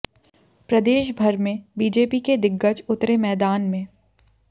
प्रदेश भर में बीजेपी के दिग्गज उतरे मैदान में